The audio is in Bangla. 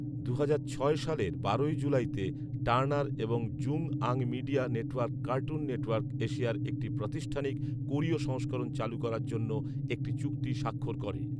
দু'হাজার ছয় সালের বারোই জুলাইতে টার্নার এবং জুংআং মিডিয়া নেটওয়ার্ক কার্টুন নেটওয়ার্ক এশিয়ার একটি প্রাতিষ্ঠানিক কোরীয় সংস্করণ চালু করার জন্য একটি চুক্তি স্বাক্ষর করে।